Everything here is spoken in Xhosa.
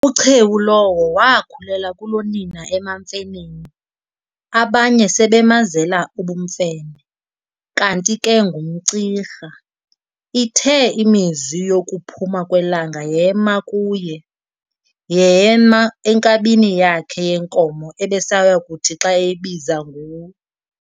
UChewu lowo waakhulela kulonina emaMfeneni, abanye sebemazela ubumfene, kanti ke ngumCirha. Ithe iminzwi yokuphuma kwelanga yema kuye, yema enkabini yakhe yenkomo ebesayakuthi xa eyibiza ngu-